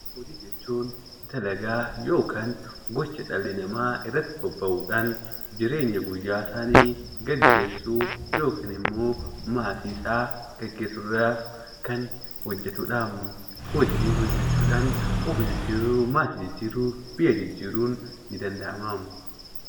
Hojii jechuun dalagaa yookaan gocha dhalli namaa irratti bobba'uudhaanii jireenya guyyaa guyyaa isaanii gaggeessuu yookiin immoo maatii isaa gaggeessuudhaaf hojjetudha. Hojii hojjechuudhaan maatii jijjiiruu, of jijjiiruu, biyya jijjiiruun ni danda'ama.